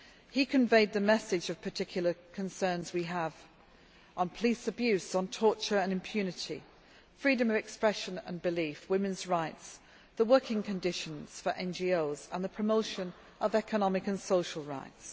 He conveyed the message of particular concerns we have on police abuse, on torture and impunity, freedom of expression and belief, women's rights, the working conditions for NGOs, and the promotion of economic and social rights.